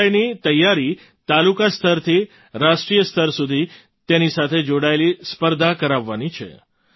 સંસ્કૃતિ મંત્રાલયની તૈયારી તાલુકા સ્તરથી રાષ્ટ્રીય સ્તર સુધી તેની સાથે જોડાયેલી સ્પર્ધા કરાવવાની છે